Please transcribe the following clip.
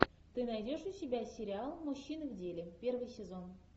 ты найдешь у себя сериал мужчины в деле первый сезон